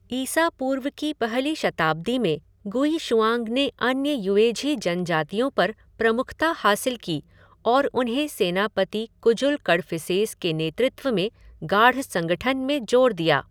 ईसा पूर्व की पहली शताब्दी में गुइशुआंग ने अन्य युएझी जनजातियों पर प्रमुखता हासिल की और उन्हें सेनापति कुजुल कडफिसेस के नेतृत्व में गाढ़ संगठन में जोड़ दिया।